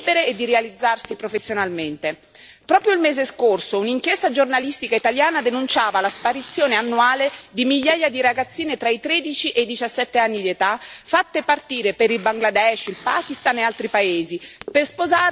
Proprio il mese scorso un'inchiesta giornalistica italiana, denunciava la sparizione annuale di migliaia di ragazzine tra i tredici e i diciassette anni di età, fatte partire per il Bangladesh, il Pakistan e altri paesi, per sposare un lontano parente molto più grande di loro.